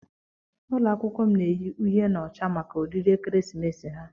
Ụlọ akwụkwọ m na-eyi uhie na ọcha maka oriri ekeresimesi ha.